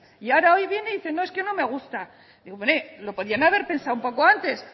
y hoy viene y dice no es que no me gusta hombre lo podrían haber pensado un poco antes